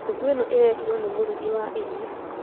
Nyũngũĩno ĩrehirwo nĩ mũrugi wa irio